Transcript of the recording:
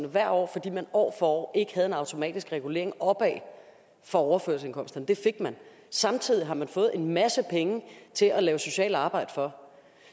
hvert år fordi man år for år ikke havde en automatisk regulering opad for overførselsindkomsterne og det fik man samtidig har man fået en masse penge til at lave socialt arbejde for